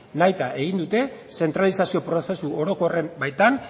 nahita egin dute zentralizazio prozesu orokorren baitan